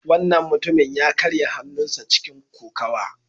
Wannan mutumin ya karya hannunsa a cikin kokawa.